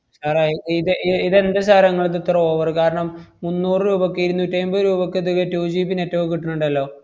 sir ഏ ഇത് ഇ~ ഇതെന്താ sir ഏ മ്മക്കിത്ര െ over? കാരണം, മുന്നൂറു രൂപക്ക് ഇരുന്നൂറ്റി ഐമ്പത് രൂപക്കൊക്കെ 2 GB net ഒക്കെ കിട്ടണ്ണ്ടല്ലോ?